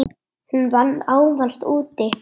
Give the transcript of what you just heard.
Hún vann ávallt úti.